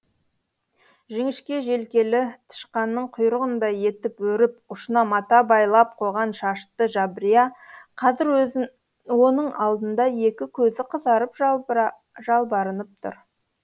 жіңішке желкелі тышқанның құйрығындай етіп өріп ұшына мата байлап қойған шашты жабрия қазір оның алдында екі көзі қызарып жалбарынып тұр